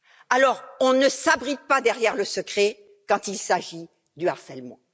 Alors, on ne s'abrite pas derrière le secret quand il s'agit du harcèlement.